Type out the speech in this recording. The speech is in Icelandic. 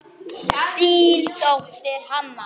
Þín dóttir, Hanna.